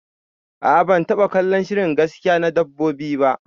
Aa ban taba kallon shirin gaskiya na dabbobi ba